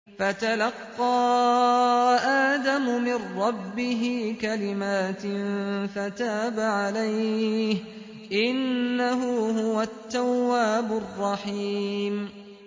فَتَلَقَّىٰ آدَمُ مِن رَّبِّهِ كَلِمَاتٍ فَتَابَ عَلَيْهِ ۚ إِنَّهُ هُوَ التَّوَّابُ الرَّحِيمُ